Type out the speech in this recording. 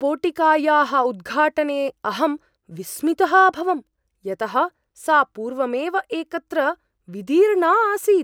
पोटिकायाः उद्घाटने अहं विस्मितः अभवं, यतः सा पूर्वमेव एकत्र विदीर्णा आसीत्!